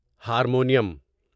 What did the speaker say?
harmonium